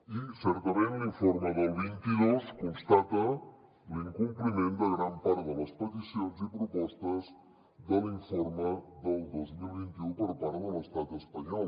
i certament l’informe del vint dos constata l’incompliment de gran part de les peticions i propostes de l’informe del dos mil vint u per part de l’estat espanyol